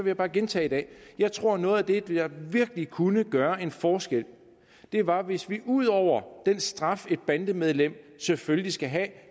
jeg bare gentage i dag at jeg tror noget af det der virkelig kunne gøre en forskel var hvis vi ud over den straf et bandemedlem selvfølgelig skal have